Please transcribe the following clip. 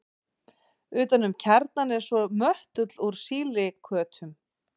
Utan um kjarnann er svo möttull úr sílíkötum.